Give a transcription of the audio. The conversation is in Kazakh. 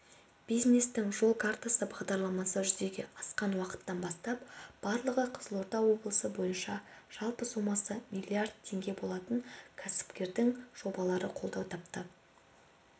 бизнестің жол картасы бағдарламасы жүзеге асқан уақыттан бастап барлығы қызылорда облысы бойынша жалпы сомасы миллиард теңге болатын кәсіпкердің жобалары қолдау тапты